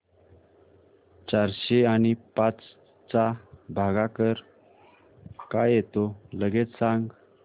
चारशे आणि पाच चा भागाकार काय येतो लगेच सांग